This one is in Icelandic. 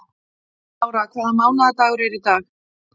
Lára, hvaða mánaðardagur er í dag?